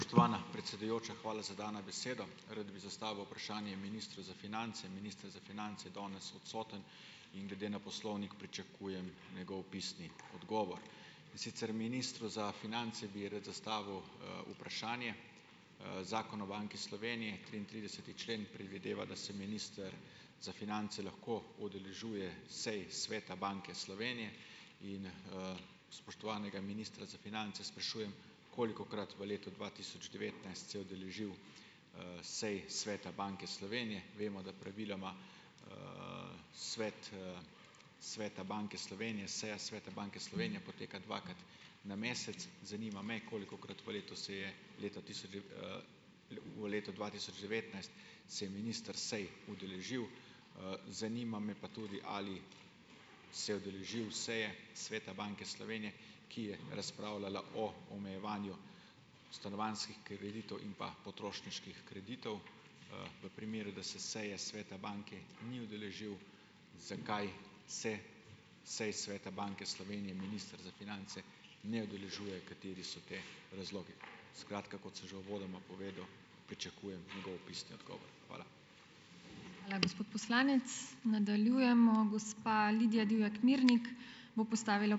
Spoštovana predsedujoča, hvala za dano besedo. Rad bi zastavil vprašanje ministru za finance. Minister za finance je danes odsoten in glede na poslovnik pričakujem njegov pisni odgovor. In sicer ministru za finance bi rad zastavil, vprašanje. Zakon o Banki Slovenije, triintrideseti člen predvideva, da se minister za finance lahko udeležuje sej Sveta Banke Slovenije. In, spoštovanega ministra za finance sprašujem, kolikokrat v letu dva tisoč devetnajst se je udeležil, sej Sveta Banke Slovenije. Vemo, da praviloma, Svet, Sveta Banke Slovenije, seja Sveta Banke Slovenije poteka dvakrat na mesec. Zanima me, kolikokrat v letu se je leta tisoč v letu dva tisoč devetnajst se je minister sej udeležil. Zanima me pa tudi, ali se je udeležil seje Sveta Banke Slovenije, ki je razpravljala o omejevanju stanovanjskih kreditov in pa potrošniških kreditov. V primeru, da se seje sveta banke ni udeležil, zakaj se sej Sveta Banke Slovenije minister za finance ne udeležuje, kateri so ti razlogi. Skratka, kot sem že uvodoma povedal, pričakujem njegov pisni odgovor. Hvala.